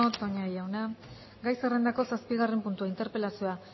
toña jauna gai zerrendako zazpigarren puntua interpelazioa